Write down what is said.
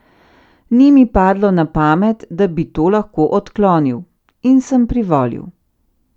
Ni mi padlo na pamet, da bi to lahko odklonil, in sem privolil.